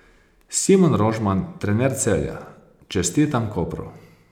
Simon Rožman, trener Celja: 'Čestitam Kopru.